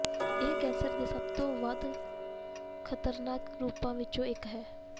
ਇਹ ਕੈਂਸਰ ਦੇ ਸਭ ਤੋਂ ਵੱਧ ਖ਼ਤਰਨਾਕ ਰੂਪਾਂ ਵਿੱਚੋਂ ਇੱਕ ਹੈ